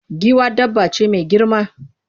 Giwa dabba ce mai girma.